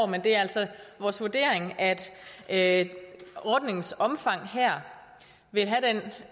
men det er altså vores vurdering at ordningens omfang her vil have